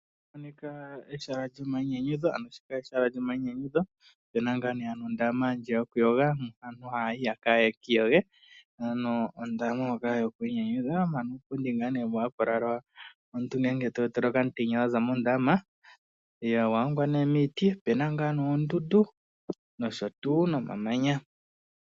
Ehala lyomayinyanyudho, mpoka pu na ondaama yokuyoga moka aantu haya yi ye ki iyoge. Opu na wo uupundi koka haku lalwa uuna omuntu ta ontele okamutenya uuna a zi momeya, owa hongwa miiti. Opu na wo oondundu noshowo omamanya.